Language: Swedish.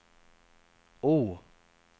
O